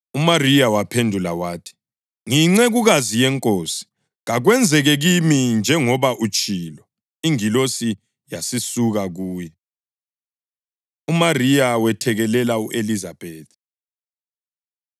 UMariya waphendula wathi, “Ngiyincekukazi yeNkosi. Kakwenzeke kimi njengoba utshilo.” Ingilosi yasisuka kuye. UMariya Wethekelela U-Elizabethi